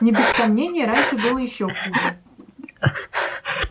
не без сомнения раньше было ещё хуже